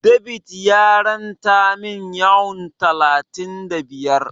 David ya ranta min Yuan talatin da biyar.